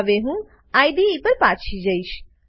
હવે હું આઇડીઇ પર પાછો જઈશ